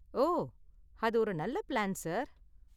ஓ, அது ஒரு நல்ல பிளான், சார்.